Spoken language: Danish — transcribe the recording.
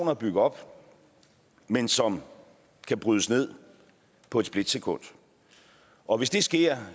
at bygge op men som kan brydes ned på et splitsekund og hvis det sker